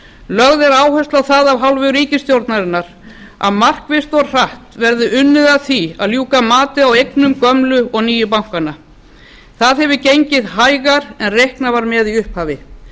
lögð er áhersla á það af hálfu ríkisstjórnarinnar að markvisst og hratt verði unnið að því að ljúka mati á eignum gömlu og nýju bankana það hefur gengið hægar en reiknað var með í upphafi